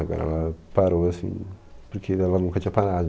Agora ela parou, assim, porque ainda ela nunca tinha parado.